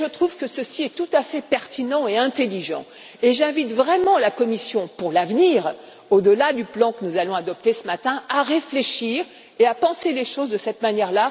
Je trouve que cela est tout à fait pertinent et intelligent, et j'invite vraiment la Commission pour l'avenir, au delà du plan que nous allons adopter ce matin, à réfléchir et à penser les choses de cette manière.